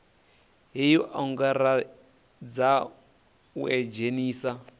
hei o angaredza u idzhenisa